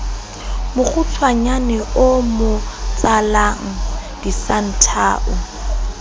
mokgutshwanyane o mo tsalang disanthao